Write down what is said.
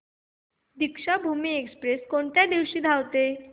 Deekshabhoomi Express कोणत्या दिवशी धावते